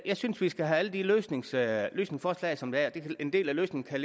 jeg synes vi skal have alle de løsningsforslag løsningsforslag som der er en del af løsningen kan